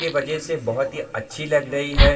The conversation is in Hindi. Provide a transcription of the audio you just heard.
के वजे से बहुत अच्छे लग रही है।